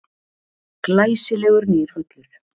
Glæsilegur nýr völlur.